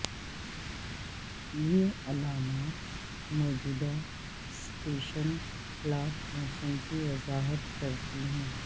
یہ علامات موجودہ سٹیشن پلاٹ موسم کی وضاحت کرتی ہیں